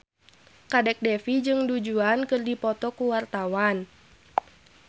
Kadek Devi jeung Du Juan keur dipoto ku wartawan